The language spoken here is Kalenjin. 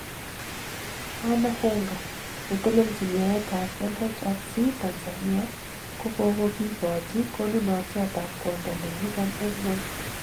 Anna Henga:Netelelchin yaet tab LHRC Tanzania kogokikochi konunotyot ab kwondo nenyikan eng ngwony.